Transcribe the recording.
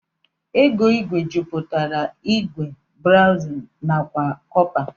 ego igwe jiputara igwe, bronzu nakwa cọpa.